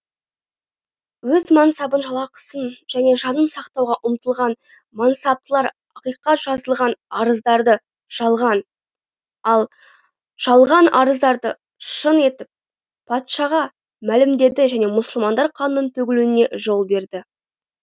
өз мансабын жалақысын және жанын сақтауға ұмтылған мансаптылар ақиқат жазылған арыздарды жалған ал жалған арыздарды шын етіп патшаға мәлімдеді және мұсылмандар қанының төгілуіне жол берді